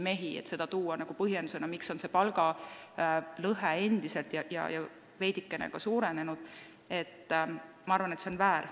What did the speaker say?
Nii et tuua selline asi põhjenduseks, miks palgalõhe on endine ja veidike isegi suurenenud, on minu arvates väär.